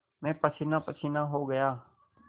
मैं पसीनापसीना हो गया